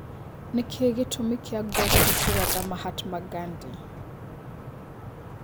nĩ kĩĩ gĩtũmĩ kia goste kũratha Mahatma gandhi